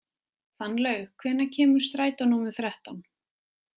Fannlaug, hvenær kemur strætó númer þrettán?